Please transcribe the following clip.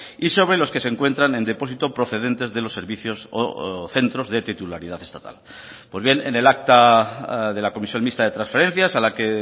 y sobre los que se encuentran en depósito procedentes de los servicios o centros de titularidad estatal pues bien en el acta de la comisión mixta de transferencias a la que